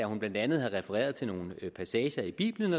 hun blandt andet havde refereret til nogle passager i bibelen